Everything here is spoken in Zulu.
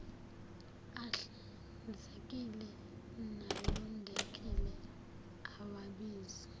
ahlanzekile nalondekile awabizi